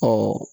Ɔ